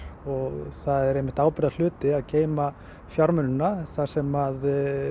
og það er einmitt ábyrgðarhluti að geyma fjármunina þar sem